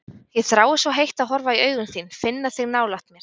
Ég þrái svo heitt að horfa í augun þín, finna þig nálægt mér.